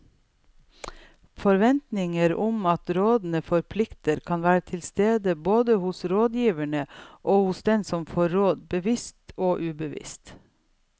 Forventninger om at rådene forplikter kan være til stede både hos rådgiverne og hos den som får råd, bevisst og ubevisst.